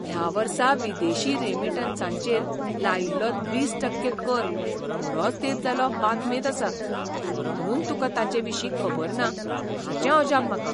ह्या वर्सा विदेशी रेमिटन्सांचेर लायिल्लो वीस टक्के कर बरोच तेंप जालो बातमेंत आसा, म्हुणून तुकां ताचे विशीं खबर ना हाचें अजाप म्हाका.